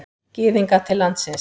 Gyðinga til landsins.